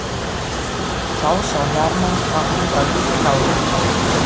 Þá sá Hermann hvað hún var lík láru.